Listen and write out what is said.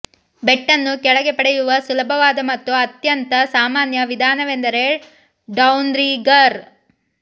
bait ಅನ್ನು ಕೆಳಗೆ ಪಡೆಯುವ ಸುಲಭವಾದ ಮತ್ತು ಅತ್ಯಂತ ಸಾಮಾನ್ಯ ವಿಧಾನವೆಂದರೆ ಡೌನ್ರಿಗರ್